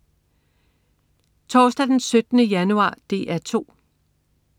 Torsdag den 17. januar - DR 2: